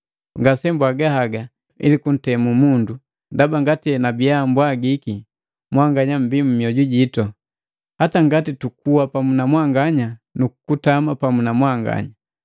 Ngasembwaga haga ili kuntemu mundu, ndaba ngati enabiya mbwagiki, mwanganya mmbii mmoju jitu, hata ngati tukuwa pamu na mwanganya nu kutama pamu na mwanganya.